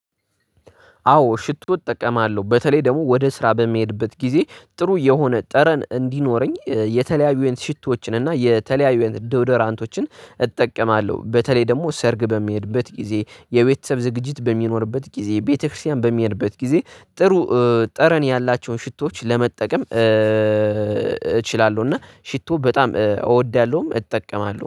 አዎ ሽቶ እጠቀማለሁ በተለይ ደግሞ ወደ ስራ በሚሄድበት ጊዜ ጥሩ የሆነ ጠረን እንዲኖረኝ የተለያዩ አይነት ሽቶዎችን እና የተለያዩ አይነት ዶድራንቶችን እጠቀማለሁ። በተለይ ደግሞ ሰርግ በምሄድበት ጊዜ የቤተሰብ ዝግጅት በሚኖርበት ጊዜ ቤተክርስቲያን በምሄድበት ጊዜ ጥሩ ጠረን ያላቸውን ሽቶዎች ለመጠቀም እችላለሁ እና ሽቶ በጣም እወዳለሁም እጠቀማለሁም